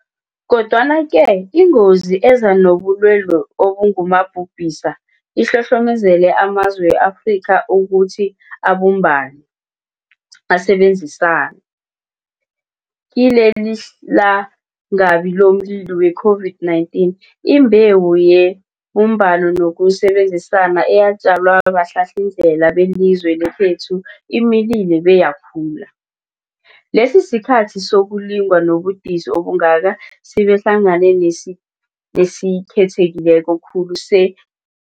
Kodwana-ke ingozi eza nobulwelobu obungumabhubhisa ihlohlomezele amazwe we-Afrika ukuthi abumbane, asebenzisane. Kilelilangabi lomlilo we-COVID-19, imbewu yebumbano nokusebenzisana eyatjalwa bahlahlindlela belizwe lekhethu imilile beyakhula. Lesisikhathi sokulingwa nobudisi obungaka sibehlangana nesikhetheke khulu se-